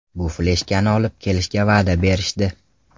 Bu fleshkani olib kelishga va’da berishdi”.